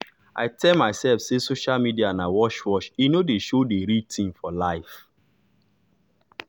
i tell myself say social media na wash wash e nor dey show d real tin for life.